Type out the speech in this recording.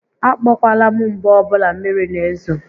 A kpọkwala m mgbe ọbụla mmiri n'ezo